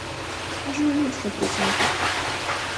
джой на сто процентов